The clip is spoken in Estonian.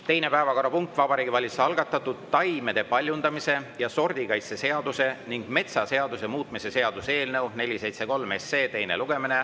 Teine päevakorrapunkt on Vabariigi Valitsuse algatatud taimede paljundamise ja sordikaitse seaduse ning metsaseaduse muutmise seaduse eelnõu 473 teine lugemine.